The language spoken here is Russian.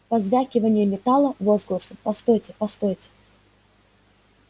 позвякивание металла возгласы постойте постойте